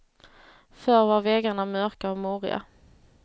Förr var väggarna mörka och murriga.